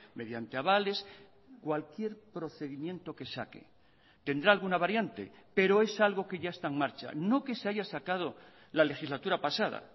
mediante avales cualquier procedimiento que saque tendrá alguna variante pero es algo que ya está en marcha no que se haya sacado la legislatura pasada